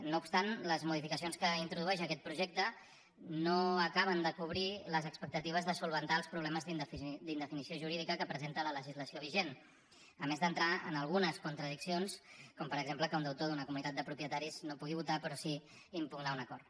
no obstant les modificacions que introdueix aquest projecte no acaben de cobrir les expectatives de solucionar els problemes d’indefinició jurídica que presenta la legislació vigent a més d’entrar en algunes contradiccions com per exemple que un deutor d’una comunitat de propietaris no pugui votar però sí impugnar un acord